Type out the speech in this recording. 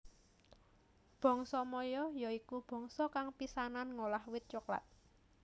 Bangsa Maya ya iku bangsa kang pisanan ngolah wit coklat